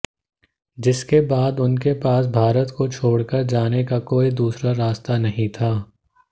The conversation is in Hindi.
जिसके बाद उनके पास भारत को छोड़कर जाने का कोई दूसरा रास्ता नहीं था